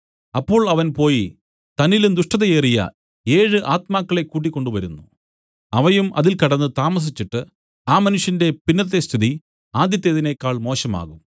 അപ്പോൾ അവൻ പോയി തന്നിലും ദുഷ്ടത ഏറിയ ഏഴ് ആത്മാക്കളെ കൂട്ടിക്കൊണ്ട് വരുന്നു അവയും അതിൽ കടന്നു താമസിച്ചിട്ട് ആ മനുഷ്യന്റെ പിന്നത്തെ സ്ഥിതി ആദ്യത്തേതിനേക്കാൾ മോശമാകും